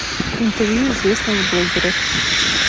интервью известных блогеров